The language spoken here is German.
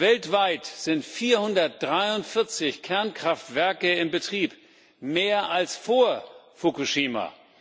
Weltweit sind 443 Kernkraftwerke in Betrieb mehr als vor Fukushima.